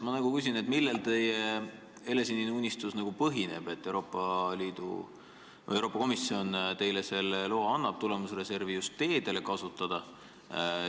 Ma küsin, millel põhineb teie helesinine unistus, et Euroopa Komisjon annab loa tulemusreservi just teede jaoks kasutada.